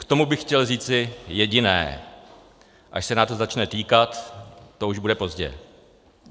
K tomu bych chtěl říci jediné: až se nás to začne týkat, to už bude pozdě.